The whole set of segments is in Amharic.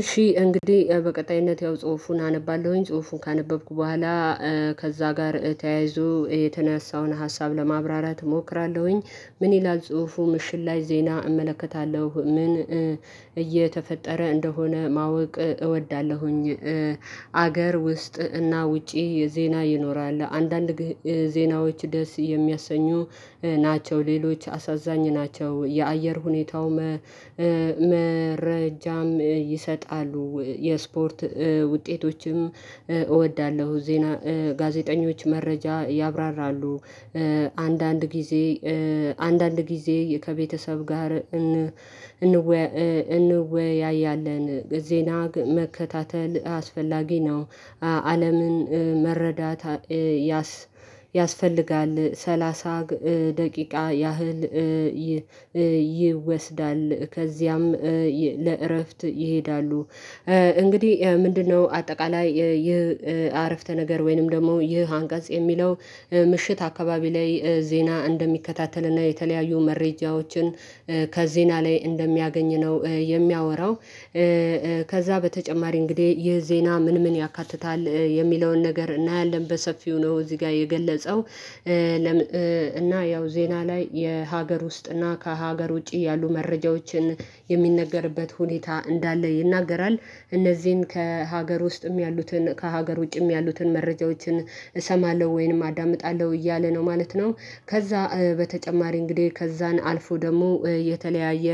እሺ እንግዲህ በቀጣይነት ያው ጽሁፉን አነባለሁኝ ጽሁፉን ካነበብኩ በኋላ ከዛ ጋር ተያይዞ የተነሳውን ሀሳብ ለማብራራት እሞክራለሁኝ። ምን ይላል ጽሁፉ ምሽት ላይ ዜና እመለከታለሁ ምን እየተፈጠረ እንደሆነ ማወቅ እወዳለሁኝ። አገር ውስጥ እና ውጪ ዜና ይኖራል አንዳንድ ዜናዎች ደስ የሚያሰኙ ናቸው ሌሎች አሳዛኝ ናቸው የአየር ሁኔታው መረጃም ይሰጣሉ። የስፖርት ውጤቶችም እወዳለሁ ዜና ጋዜጠኞች መረጃ ያብራራሉ። አንዳንድ አንዳንድ ጊዜ ከቤተሰብ ጋር እንወያያለን። ዜና መከታተል አስፈላጊ ነው። አለምን መረዳት ያስፈልጋል ሰላሳ ደቂቃ ያህል ይወስዳል ከዚያም ለእረፍት ይሄዳሉ። እንግዲህ ምንድነው አጠቃላይ ይህ አረፍተ ነገር ወይንም ደግሞ ይህ አንቀጽ የሚለው? ምሽት አካባቢ ላይ ዜና እንደሚከታተልና የተለያዩ መረጃዎችን ከዜና ላይ እንደሚያገኝ ነው የሚያወራው። ከዛ በተጨማሪ እንግዲህ ይህ ዜና ምን ምን ያካትታል የሚለውን ነገር እናያለን በሰፊው ነው። እዚህ ጋር የገለጸው እና ያው ዜና ላይ የሀገር ውስጥና ከሀገር ውጪ ያሉ መረጃዎችን የሚነገርበት ሁኔታ እንዳለ ይናገራል። እነዚህን ከሀገር ውስጥም ያሉትን ከሀገር ውጪም ያሉትን መረጃዎችን እሰማለሁ ወይንም አዳምጣለሁ እያለ ነው ማለት ነው። ከዛ በተጨማሪ እንግዲህ ከዛን አልፎ ደግሞ የተለያየ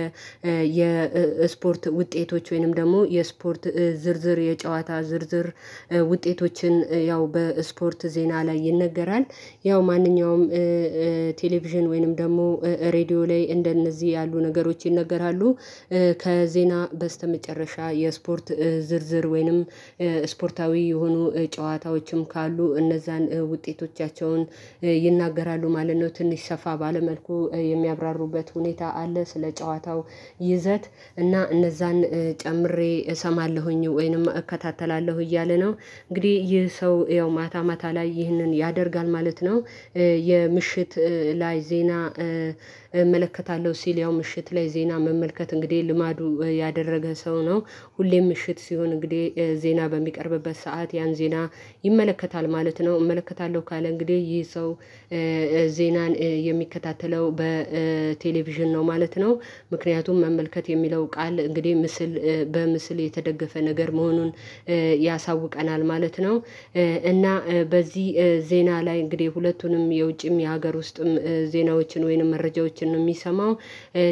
የስፖርት ውጤቶች ወይንም ደግሞ የስፖርት ዝርዝር የጨዋታ ዝርዝር ውጤቶችን ያው በስፖርት ዜና ላይ ይነገራል። ያው ማንኛውም ቴሌቪዥን ወይንም ደግሞ ሬድዮ ላይ እንደነዚህ ያሉ ነገሮች ይነገራሉ። ከዜና በስተመጨረሻ የስፖርት ዝርዝር ወይንም ስፖርታዊ የሆኑ ጨዋታዎችም ካሉ እነዛን ውጤቶቻቸውን ይናገራሉ ማለት ነው። ትንሽ ሰፋ ባለ መልኩ የሚያብራሩበት ሁኔታ አለ ስለ ጨዋታው ይዘት እና እነዛን ጨምሬ እሰማለሁኝ ወይንም እከታተላለሁ እያለ ነው። እንግዲህ ይህ ሰው ያው ማታ ማታ ላይ ይህንን ያደርጋል ማለት ነው። የምሽት ላይ ዜና እመለከታለሁ ሲል ያው ምሽት ላይ ዜና መመልከት እንግዲህ ልማዱ ያደረገ ሰው ነው። ሁሌም ምሽት ሲሆን እንግዲህ ዜና በሚቀርብበት ሰዓት ያን ዜና ይመለከታል ማለት ነው። እመለከታለሁ ካለ እንግዲህ ይህ ሰው ዜናን የሚከታተለው በቴሌቪዥን ነው ማለት ነው። ምክንያቱም መመልከት የሚለው ቃል እንግዲህ ምስል በምስል የተደገፈ ነገር መሆኑን ያሳውቀናል ማለት ነው። እና በዚህ ዜና ላይ እንግዲህ ሁለቱንም የውጭም የሀገር ውስጥም ዜናዎችን ወይንም መረጃዎችን ነው የሚሰማው።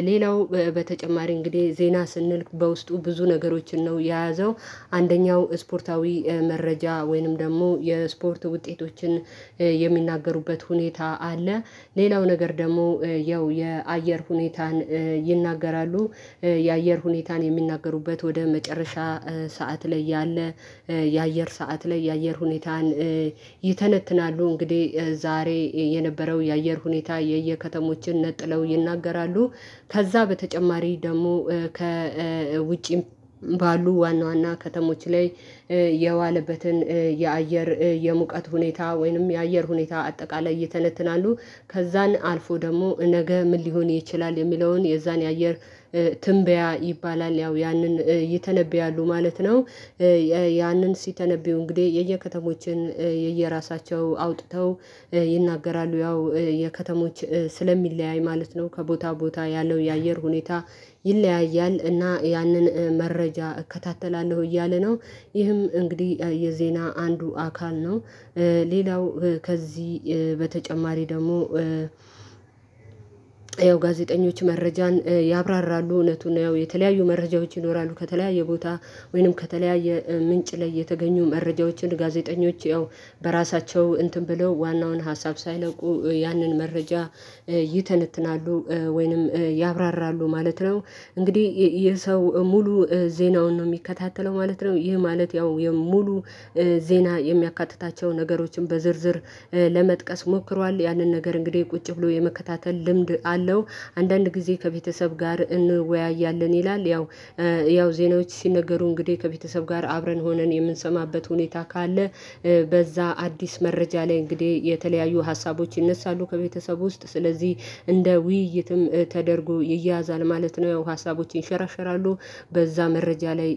ሌላው በተጨማሪ እንግዲህ ዜና ስንል በውስጡ ብዙ ነገሮችን ነው የያዘው አንደኛው ስፖርታዊ መረጃ ወይንም ደግሞ የስፖርት ውጤቶችን የሚናገሩበት ሁኔታ አለ። ሌላው ነገር ደግሞ ያው የአየር ሁኔታን ይናገራሉ። የአየር ሁኔታን የሚናገሩበት ወደ መጨረሻ ሰዓት ላይ ያለ የአየር ሰዓት ላይ የአየር ሁኔታን ይተነትናሉ። እንግዲህ ዛሬ የነበረው የአየር ሁኔታ የየከተሞችን ነጥለው ይናገራሉ። ከዛ በተጨማሪ ደግሞ ከውጪም ባሉ ዋና ዋና ከተሞች ላይ የዋለበትን የአየር የሙቀት ሁኔታ ወይንም የአየር ሁኔታ አጠቃላይ ይተነትናሉ። ከዛን አልፎ ደግሞ ነገ ምን ሊሆን ይችላል የሚለውን የዛን የአየር ትንበያ ይባላል ያው ያንን ይተነብያሉ ማለት ነው። ያንን ሲተነብዩ እንግዲህ የየከተሞችን የየራሳቸው አውጥተው ይናገራሉ ያው የከተሞች ስለሚለያይ ማለት ነው ከቦታ ቦታ ያለው የአየር ሁኔታ ይለያያል እና ያንን መረጃ እከታተላለሁ እያለ ነው። ይህም እንግዲህ የዜና አንዱ አካል ነው። ሌላው ከዚህ በተጨማሪ ደግሞ ያው ጋዜጠኞች መረጃን ያብራራሉ እውነቱን ያው የተለያዩ መረጃዎች ይኖራሉ ከተለያየ ቦታ ወይንም ከተለያየ ምንጭ ላይ የተገኙ መረጃዎችን ጋዜጠኞች ያው በራሳቸው እንትን ብለው ዋናውን ሀሳብ ሳይለቁ ያንን መረጃ ይተነትናሉ ወይንም ያብራራሉ ማለት ነው። እንግዲህ የሰው ሙሉ ዜናውን ነው እሚከታተለው ማለት ነው። ይህ ማለት ያው የሙሉ ዜና የሚያካትታቸው ነገሮችን በዝርዝር ለመጥቀስ ሞክሯል ያንን ነገር እንግዲህ ቁጭ ብሎ የመከታተል ልምድ አለው። አንዳንድ ጊዜ ከቤተሰብ ጋር እንወያያለን ይላል ያው ያው ዜናዎች ሲነገሩ እንግዲህ ከቤተሰብ ጋር አብረን ሆነን የምንሰማበት ሁኔታ ካለ በዛ አዲስ መረጃ ላይ እንግዲህ የተለያዩ ሀሳቦች ይነሳሉ ከቤተሰብ ውስጥ ስለዚህ እንደ ውይይትም ተደርጎ ይያዛል ማለት ነው። ሀሳቦችን ይንሸራሸራለሁ በዛ መረጃ ላይ